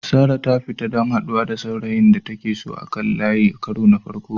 Sarah ta fita don haɗuwa da saurayin da take so a kan layi a karo na farko.